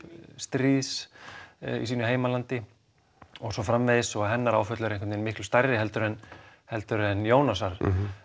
stríðs í sínu heimalandi og svo framvegis hennar áföll eru miklu stærri en en Jónasar